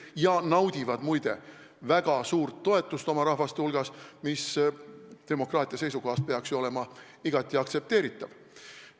Nad naudivad, muide, väga suurt toetust oma rahva hulgas, mis demokraatia seisukohalt peaks olema ju igati aktsepteeritav.